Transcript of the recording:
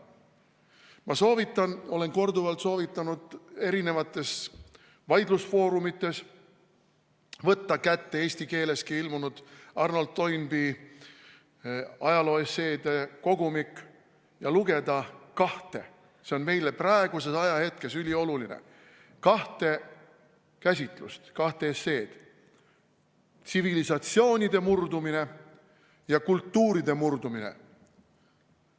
Ma soovitan, olen korduvalt soovitanud eri vaidlusfoorumites võtta kätte eesti keeleski ilmunud Arnold Toynbee ajalooesseede kogumik ja lugeda kahte – see on meile praeguses ajahetkes ülioluline – kahte käsitlust, kahte esseed: tsivilisatsioonide murdumine ja kultuuride murdumine.